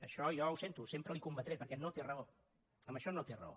això jo ho sento sempre li ho combatré perquè no té raó en això no té raó